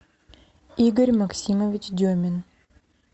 игорь максимович демин